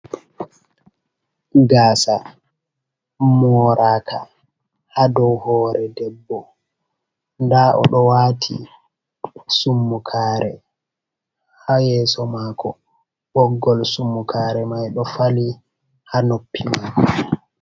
Gaasa moraka ha dow hore debbo, nda o ɗo wati summukare haa yeso mako, boggol summukare mai ɗo fali haa noppi mako.